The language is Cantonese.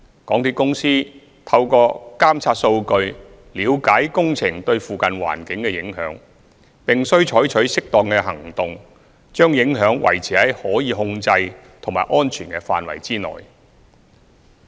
港鐵公司透過監察數據了解工程對附近環境的影響，並須採取適當的行動，把影響維持在可控制及安全的範圍內。